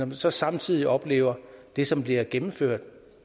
vi så samtidig oplever det som bliver gennemført